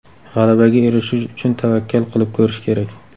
G‘alabaga erishish uchun tavakkal qilib ko‘rish kerak.